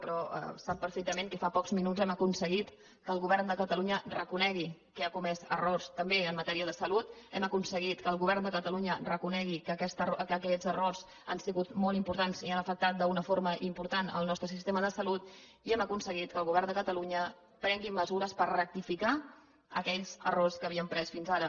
però sap perfectament que fa pocs minuts hem aconseguit que el govern de catalunya reconegui que ha comès errors també en matèria de salut hem aconseguit que el govern de catalunya reconegui que aquests errors han sigut molt importants i han afectat d’una forma important el nostre sistema de salut i hem aconseguit que el govern de catalunya prengui mesures per rectificar aquells errors que havien pres fins ara